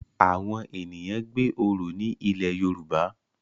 Awọn ènìyàn gbé oro ní ilẹ Yoruba